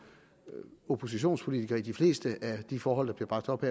oppositionspolitiker i de fleste af de forhold der bliver bragt op